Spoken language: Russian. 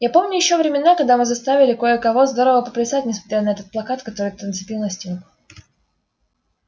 я помню ещё времена когда мы заставили кое-кого здорово поплясать несмотря на этот плакат который ты нацепил на стенку